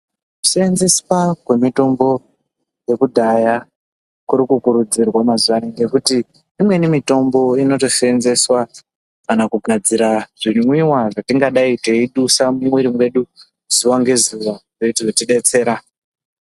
Kusenzeswa kwemitombo yekudhaya kuriku kurudzirwa mazuano ngekuti imweni mitombo ino tose enzeswa kana kugadzira zvimwiwa zvatingadai teidusa mumwiri mwedu zuwa ngezuwa zvei zotidetsera.